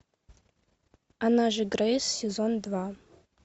она же грейс сезон два